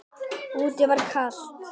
Úti var kalt.